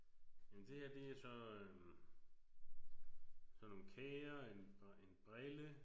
Men det her det er så øh sådan nogle kager en og en brille